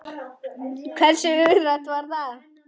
Hversu hugrakkt var það?